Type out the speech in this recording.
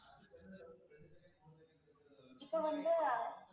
இப்ப வந்து